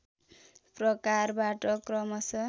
प्रकारबाट क्रमशः